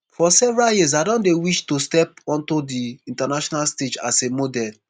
for several years i don dey wish to step onto di international stage as a model